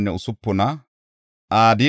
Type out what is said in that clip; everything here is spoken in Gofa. Naxoofa asay 56;